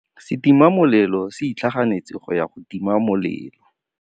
Setima molelô se itlhaganêtse go ya go tima molelô.